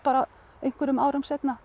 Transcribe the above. einhverjum árum seinna